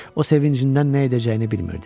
O sevincindən nə edəcəyini bilmirdi.